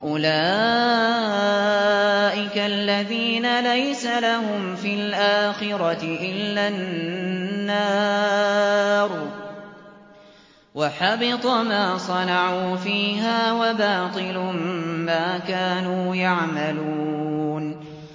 أُولَٰئِكَ الَّذِينَ لَيْسَ لَهُمْ فِي الْآخِرَةِ إِلَّا النَّارُ ۖ وَحَبِطَ مَا صَنَعُوا فِيهَا وَبَاطِلٌ مَّا كَانُوا يَعْمَلُونَ